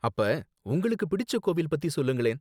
அப்ப உங்களுக்கு பிடிச்ச கோவில் பத்தி சொல்லுங்களேன்